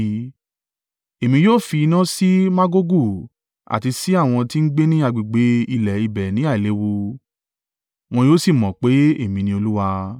Èmi yóò fi iná sí Magogu àti sí àwọn tí ń gbé ní agbègbè ilẹ̀ ibẹ̀ ní àìléwu, wọn yóò sì mọ̀ pé èmi ni Olúwa.